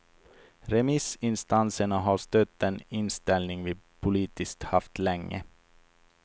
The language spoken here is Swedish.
Remissinstanserna har stött den inställning vi politiskt haft länge.